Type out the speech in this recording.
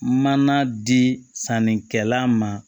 Mana di sannikɛla ma